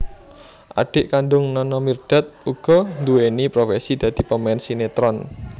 Adhik kandung Nana Mirdad uga nduweni profesi dadi pemain sinetron